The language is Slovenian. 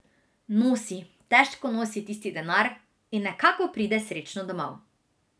Nosi, težko nosi tisti denar in nekako pride srečno domov.